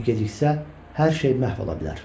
Çünki geciksə, hər şey məhv ola bilər.